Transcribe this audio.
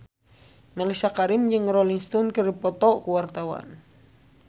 Mellisa Karim jeung Rolling Stone keur dipoto ku wartawan